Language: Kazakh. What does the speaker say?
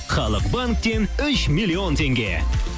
халық банктен үш миллион теңге